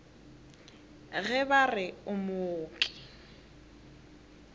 ge ba re o mooki